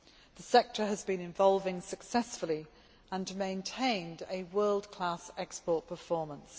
The sector has been evolving successfully and has maintained a world class export performance.